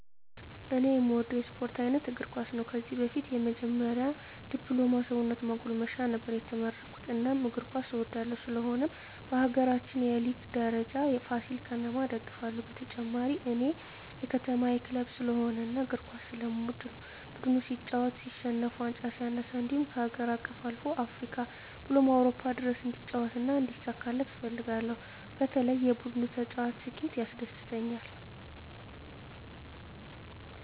እኔ እምወደው የስፓርት አይነት እግርኳስ ነው ከዚህ በፊት የመጀመሪ ድፕሎማ ሰውነት ማጎልመሻ ነበር የተመረኩት እናም እግር ኳስ እወዳለሁ ስለሆነም በሀገራችን የሊግ ደረጃ ፍሲል ከተማ እደግፍለ ሁ በተጨማሪ እኔ የከተማየ ክለብ ስለሆነ እና እግር ኳስ ስለምወድ ነው ቡድኑ ሲጫወት ሲሸንፍ ዋንጫ ሲነሳ እንድሁም ከሀገር አቀፍ አልፎ እስከ አፍሪካ ብሎም አውሮፓ ድረስ እንዲጫወት እና እንዲሳካለት እፈልጋለሁ በተለይ የቡድኑ ተጫዋች ስኬት ያስደስተኛል።